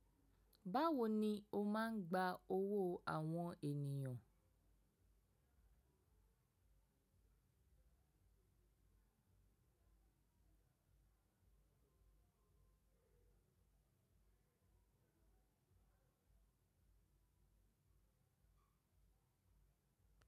Báwo ni o máa ń gba owó àwọn ènìyàn?